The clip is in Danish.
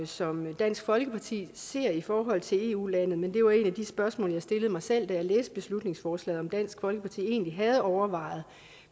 som dansk folkeparti ser i forhold til eu lande men det var et af de spørgsmål jeg stillede mig selv da jeg læste beslutningsforslaget om dansk folkeparti egentlig havde overvejet